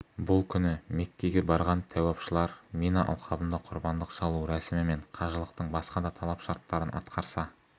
бұл күні меккеге барған тәуапшылар мина алқабында құрбандық шалу рәсімі мен қажылықтың басқа да талап-шарттарын атқарса